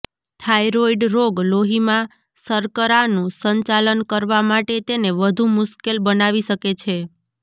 thyroid રોગ લોહીમાં શર્કરાનું સંચાલન કરવા માટે તેને વધુ મુશ્કેલ બનાવી શકે છે